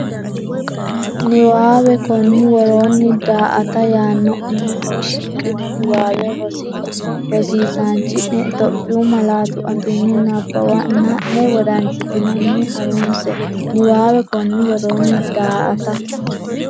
Niwaawe Konni woroonni “daa”ata” yaanno uminni shiqqino niwaawe rosi- isaanchi’ne Itophiyu malaatu afiinni nabbawanna’ne wodanchitinanni ha’runse Niwaawe Konni woroonni “daa”ata”.